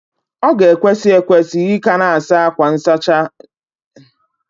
O ga-ekwesi ekwes ika a na-asa akwa nsachi ebe ndina kwa izu uka obula